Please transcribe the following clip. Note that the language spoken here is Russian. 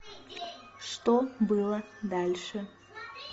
что было дальше